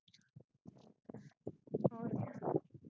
ਹੋਰ